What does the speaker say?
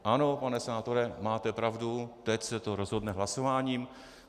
Ano, pane senátore, máte pravdu, teď se to rozhodne hlasováním.